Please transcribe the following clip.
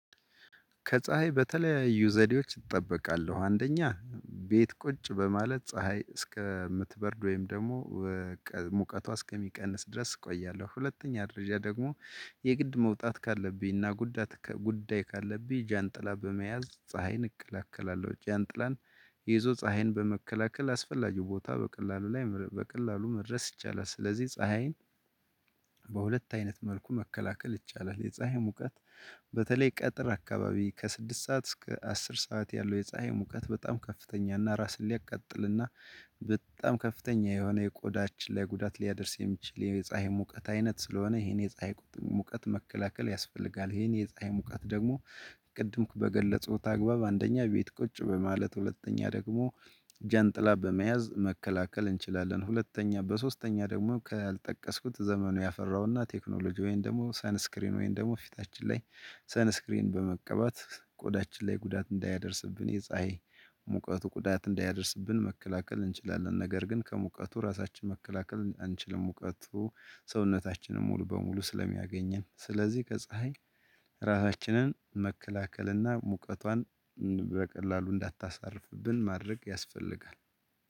ከፀሀይ በተለያዩ ዘዴዎች እጠበቃለሁ አንደኛ ቤት ቁጭ በማለት ፀሀይ እስከምትበርድ ወይም ደግሞ ሙቀቷ እስከሚቀንስ ድረስ እቆያለሁ። ሁለተኛ ደረጃ ደግሞ የግድ መውጣት ካለብኝና ጉዳይ ጉዳይ ካለብኝ ጃንጥላ በመያዝ ፀሀይን እከላከላለሁ ጃንጥላን ይዞ ፀሀይን በመከላከል አስፈላጊው ቦታ በቀላሉ ላይ በቀላሉ መድረስ ይቻላል። ስለዚህ ፀሀይን በሁለት አይነት መልኩ መከላከል ይቻላል። የፀሀይ ሙቀት በተለይ ቀጥር አካባቢ ከስድስት ሰዓት እስከ አስር ሰዓት ያለው የፀሀይ ሙቀት በጣም ከፍተኛ እና ራስን ሊያቃጥል እና በጣም ከፍተኛ የሆነ የቆዳች ላይ ጉዳት ሊያደርስ የሚችል የፀሀይ ሙቀት አይነት ስለሆነ ይሄን የፀሀይ ሙቀት መከላከል ያስፈልጋል። ይሄን የፀሀይ ሙቀት ደግሞ ቅድም በገለጽኩት አግባብ አንደኛ ቤት ቁጭ በማለት ሁለተኛ ደግሞ ጀንጥላ በመያዝ መከላከል እንችላለን። ሁለተኛ በሶስተኛ ደግሞ ካልጠቀስኩት ዘመኑ ያፈራውና ቴክኖሎጂ ወይን ደግሞ ሳንስክሪን ወይን ደግሞ ፊታችን ላይ ሰንስክሪን በመቀባት ቆዳችን ላይ ጉዳት እንዳያደርስብን የፀሀይ ሙቀቱ ጉዳት እንዳያደርስብን መከላከል እንችላለን። ነገር ግን ከሙቀቱ ራሳችን መከላከል አንችልም። ሙቀቱ ሰውነታችንን ሙሉ በሙሉ ስለሚያገኘን ስለዚህ ከፀሀይ ራሳችንን መከላከልና ሙቀቷን በቀላሉ እንዳታሳርፍብን ማድረግ ያስፈልጋል።